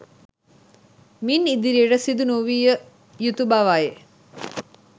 මින් ඉදිරියට සිදු නොවිය යුතු බවයි